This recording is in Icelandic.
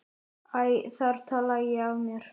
Æ, þar talaði ég af mér!